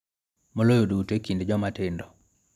Moloyo duto e kind joma tindo.